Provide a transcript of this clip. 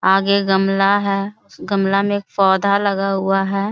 आगे गमला है उस गमला में एक पौधा लगा हुआ है ।